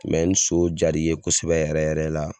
ni so jaar'i ye kosɛbɛ yɛrɛ yɛrɛ la